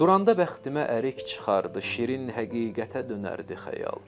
Duranda bəxtimə ərik çıxardı, şirin həqiqətə dönərdi xəyal.